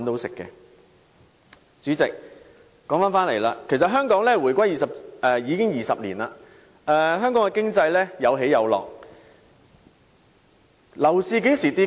代理主席，香港回歸20年，經濟有起有落，樓市曾否下跌？